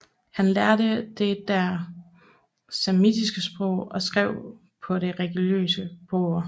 Han lærte der det samiske sprog og skrev på det religiøse bøger